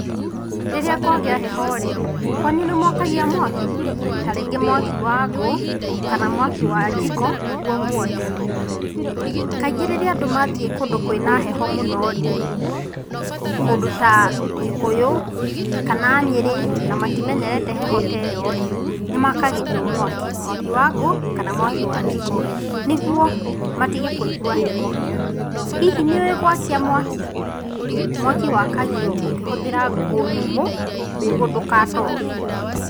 Rĩrĩa kwagĩa heho rĩ, kwanyu nĩmwakagia mwaki?ta rĩngĩ mwaki wa ngũ kana mwaki wa njiko nĩguo mwote. Kaingĩ rĩrĩa andũ mathiĩ kũndũ kwĩna heho mũno rĩ kũndũ ta Gĩkũyũ kana Nyĩrĩ na matimenyerete heho ta ĩyo rĩ nĩmakagĩrio mwaki ,mwaki wa ngũ kana mwaki wa njiko nĩguo matige kũigũa heho. Hihi nĩũĩ gwakia mwaki? mwaki wakagio ũkĩhũthĩra ngũ nyũmũ nĩguo ndũgatoge.